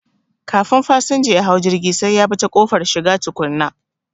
Kafin fasanja yahau jirgi sai yabi ta ƙofar shiga tukuna